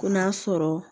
Ko n'a sɔrɔ